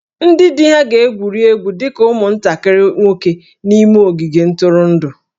Ndị di ha ga-egwuri egwu dị ka ụmụntakịrị nwoke n'ime ogige ntụrụndụ